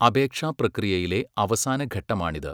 അപേക്ഷാ പ്രക്രിയയിലെ അവസാന ഘട്ടമാണിത്.